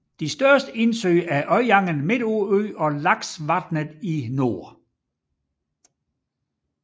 De største indsøer er Øyangen midt på øen og Laksvatnet i nord